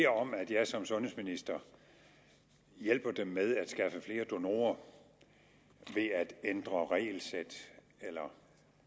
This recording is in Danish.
om at jeg som sundhedsminister hjælper dem med at skaffe flere donorer ved at ændre regelsæt eller